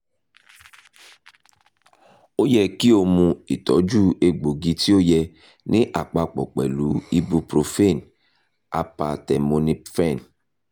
o yẹ ki o mu itọju egboogi ti o yẹ ni apapo pẹlu ibuprofen acetaminophen